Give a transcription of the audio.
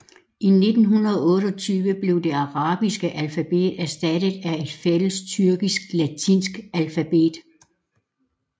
I 1928 blev det arabiske alfabetet erstattet af et fælles tyrkisk latinsk alfabet